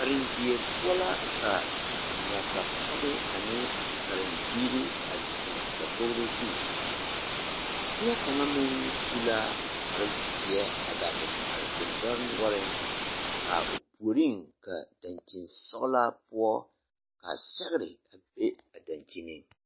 Karendie poɔ la ka nasapɔge ane karembiiri a zeŋ dakogro zu neɛ kaŋa meŋ su la kparrezeɛ a gaa te are deŋdɔre noɔreŋ a o puoreŋ ka daŋkyinsɔglaa poɔ ka sɛgre a be a daŋkyineŋ.